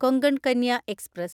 Konkan Kanya express